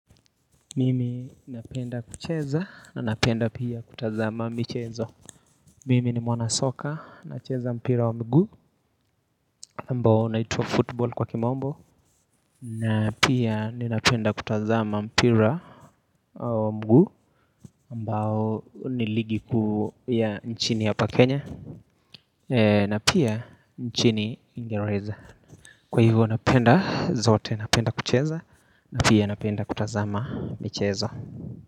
Mimi napenda kucheza na napenda pia kutazama michezo Mimi ni mwanasoka nacheza mpira wa mguu ambao unaitwa football kwa kimombo na pia ninapenda kutazama mpira wa mguu ambao ni ligi kuu ya nchini hapa Kenya na pia nchini uingereza Kwa hivyo napenda zote napenda kucheza na pia napenda kutazama mchezo.